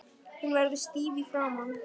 Hún verður stíf í framan.